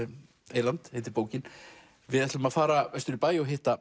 eyland heitir bókin við ætlum að fara vestur í bæ og hitta